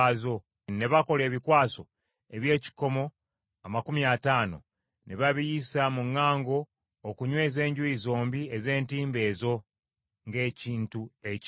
Ne bakola ebikwaso eby’ekikomo amakumi ataano, ne babiyisa mu ŋŋango okunyweza enjuuyi zombi ez’entimbe ezo ng’ekintu ekimu.